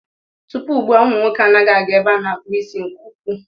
Tupu ugbua, umụ nwoke anaghị aga ebe a na-akpụ isi nke ukwuu.